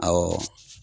Awɔ